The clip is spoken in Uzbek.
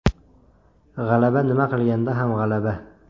G‘alaba nima qilganda ham g‘alaba.